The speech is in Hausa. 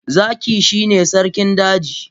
Zaki shine sarkin daji.